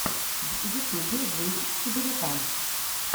в ютубе жизнь сибиряка